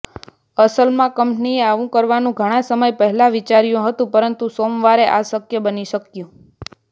અસલમાં કંપનીએ આવું કરવાનું ઘણા સમય પહેલા વિચાર્યું હતું પરંતુ સોમવારે આ શક્ય બની શક્યું